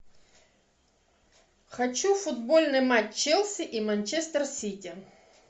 хочу футбольный матч челси и манчестер сити